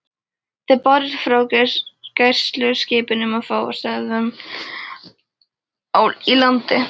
Þau bárust frá gæsluskipunum og frá stöðvum í landi.